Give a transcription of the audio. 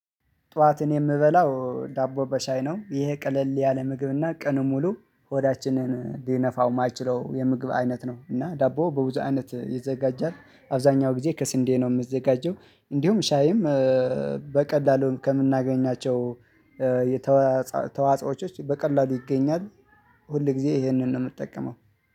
ጠዋትን የምበላው ዳቦ በሻይ ነው ይሄ ቀለል ያለ ምግብና ቀኑን ሙሉ ሆዳችንን ሊነፋው የማይችለው የምግብ አይነት ነው። እና ዳቦ በብዙ አይነት ይዘጋጃል። አብዛኛው ጊዜ ከስንዴ ነው የምዘጋጀው። እንዲሁም ሻይም በቀላሉን ከምናገኛቸው የተዋጾ ተዋጽዎቾች በቀላሉ ይገኛል። ሁል ጊዜ ይሄንን ነው የምጠቀመው